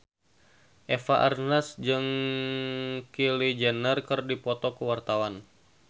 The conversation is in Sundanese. Eva Arnaz jeung Kylie Jenner keur dipoto ku wartawan